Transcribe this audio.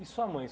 E sua mãe?